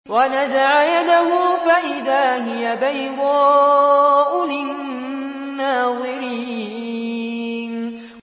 وَنَزَعَ يَدَهُ فَإِذَا هِيَ بَيْضَاءُ لِلنَّاظِرِينَ